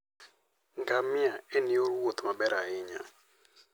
Ngamia en yor wuoth maber ahinya.